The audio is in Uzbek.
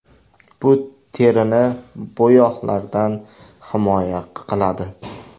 Bu terini bo‘yoqlardan himoya qiladi.